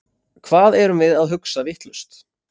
Hvað erum við að hugsa vitlaust?